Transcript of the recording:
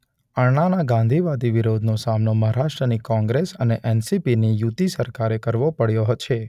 અણ્ણાના ગાંધીવાદી વિરોધનો સામનો મહારાષ્ટ્રની કોંગ્રેસ અને એન_શબ્દ સી_શબ્દ પી_શબ્દ ની યુતિ સરકારે પણ કરવો પડ્યો છે.